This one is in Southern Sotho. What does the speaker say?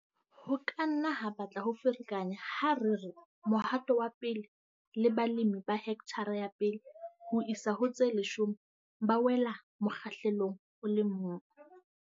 Ho ka nna ha batla ho ferekanya ha re re Mohato wa 1 le balemi ba hekthara ya 1 ho isa ho tse leshome ba wela mokgahlelong o le mong.